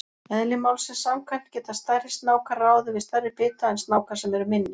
Eðli málsins samkvæmt geta stærri snákar ráðið við stærri bita en snákar sem eru minni.